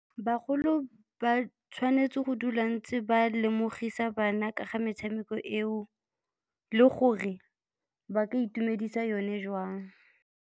Bagolo ba tshwanetse go dula ntse ba lemogisa bana ka ga metshameko eo le gore ba ka itumedisa yone jwang.